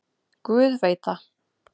Guð veit það.